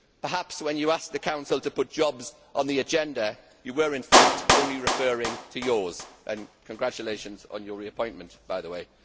Perhaps when you asked the Council to put jobs on the agenda you were in fact only referring to yours congratulations on your reappointment, by the way.